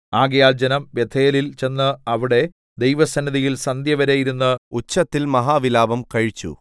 ആകയാൽ ജനം ബേഥേലിൽ ചെന്ന് അവിടെ ദൈവസന്നിധിയിൽ സന്ധ്യവരെ ഇരുന്ന് ഉച്ചത്തിൽ മഹാവിലാപം കഴിച്ചു